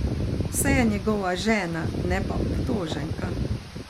Saj je njegova žena, ne pa obtoženka!